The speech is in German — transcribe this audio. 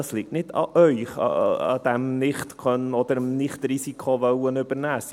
Es liegt nicht an Ihnen, an einem Nichtkönnen oder daran, ein Risiko nicht übernehmen zu wollen.